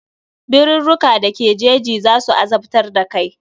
Birurruka da ke jeji za su azabtar da kai.